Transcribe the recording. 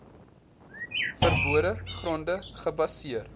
verbode gronde gebaseer